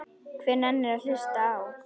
Hver nennir að hlusta á.